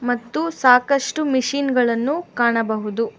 ಮತ್ತು ಸಾಕಷ್ಟು ಮಿಷಿನ್ ಗಳನ್ನು ಕಾಣಬಹುದು.